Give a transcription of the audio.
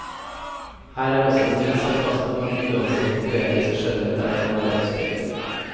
Her er også mild sarkasme, og en uanstrengt, poetisk skjønnhet der det kan være ønskelig.